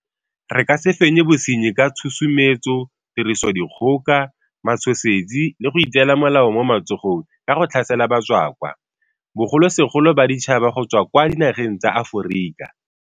Re ka se fenye bosenyi ka tshusumetso, tirisodikgoka, matshosetsi le go itseela molao mo matsogong ka go tlhasela batswakwa, bogolosegolo baditšhaba go tswa kwa dinageng tsa Aforika.